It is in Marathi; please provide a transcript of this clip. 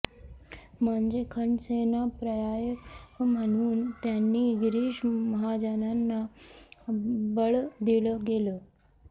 म्हणजे खडसेंना पर्याय म्हणून त्यांनी गिरीश महाजनांना बळ दिलं गेलं